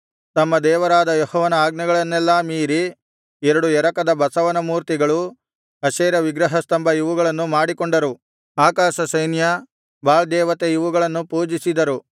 ತಮ್ಮ ದೇವರಾದ ಯೆಹೋವನ ಆಜ್ಞೆಗಳನ್ನೆಲ್ಲಾ ಮೀರಿ ಎರಡು ಎರಕದ ಬಸವನಮೂರ್ತಿಗಳು ಅಶೇರ ವಿಗ್ರಹಸ್ತಂಭ ಇವುಗಳನ್ನು ಮಾಡಿಕೊಂಡರು ಆಕಾಶಸೈನ್ಯ ಬಾಳ್ ದೇವತೆ ಇವುಗಳನ್ನು ಪೂಜಿಸಿದರು